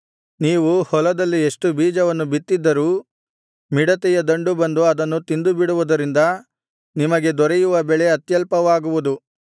ನೀವು ಹೊಲದಲ್ಲಿ ಎಷ್ಟು ಬೀಜವನ್ನು ಬಿತ್ತಿದ್ದರೂ ಮಿಡತೆಯ ದಂಡು ಬಂದು ಅದನ್ನು ತಿಂದು ಬಿಡುವುದರಿಂದ ನಿಮಗೆ ದೊರೆಯುವ ಬೆಳೆ ಅತ್ಯಲ್ಪವಾಗುವುದು